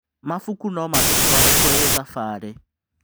Mabuku no matũtware kũrĩ thabarĩ.